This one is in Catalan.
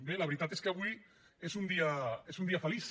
bé la veritat és que avui és un dia feliç